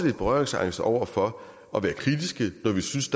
lidt berøringsangste over for at være kritiske når vi synes